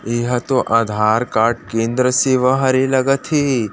ये हा तो आधार कार्ड केंद्र सेवा लगत हे।